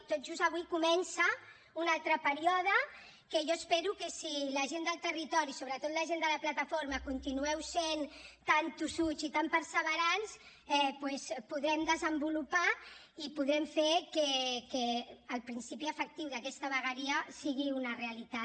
tot just avui comença un altre període que jo espero que si la gent del territori sobretot la gent de la plataforma continueu sent tan tossuts i tan perseverants doncs podrem desenvolupar i podrem fer que el principi efectiu d’aquesta vegueria sigui una realitat